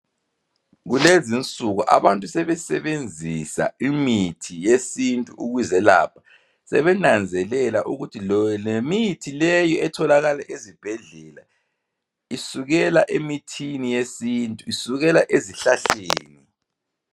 Kulezinsuku abantu sebesebenzisa imithi yesintu ukuzelapha sebenanzelela lokuthi lemithi leyi etholakala ezibhedlela isukela emithini yesintu isukela ezihlahleni